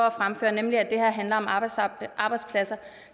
at fremføre nemlig at det her handler om arbejdspladser